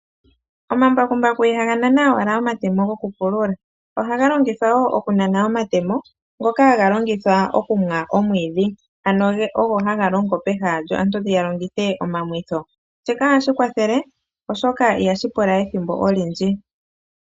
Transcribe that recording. Omambakumbaku ihaga nana owala omatemo gokupulula ohaga longithwa wo okanana omatemo ngoka haga longithwa okuma omwiidhi, ano ogo haga longithwa peha aantu ya longithe omamwitho shoka ohashi kwathele oshoka ihashi pula ethimbo olindji.